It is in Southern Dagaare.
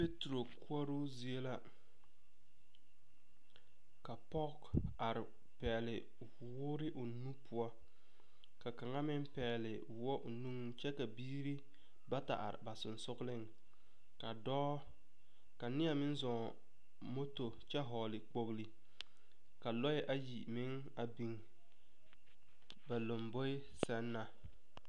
Peeturo koɔroo zie la, ka pɔge are pɛgele woore o nu poɔ, ka kaŋa meŋ pɛgele woɔ o nuŋ kyɛ ka biiri bata are ba sonsogleŋ ka dɔɔ ka neɛ meŋ zɔŋ moto kyɛ hɔgle kpogli, ka lɔɛ ayi meŋ a biŋ ba lamboe sɛŋ na.